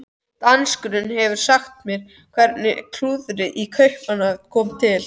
Danskurinn hefur sagt mér hvernig klúðrið í Kaupmannahöfn kom til.